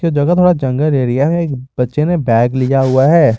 यह जगह थोड़ा जंगल एरिया है बच्चों ने बैग लिया हुआ है।